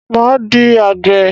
Máa di àgbè.